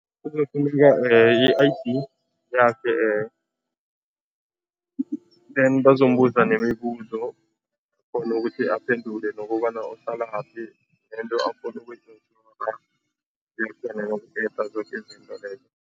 Kuzokufuneka i-I_D yakhe then bazombuza nemibuzo ukuthi aphendule nokobana uhlalaphi nento afuna zoke izinto lezo.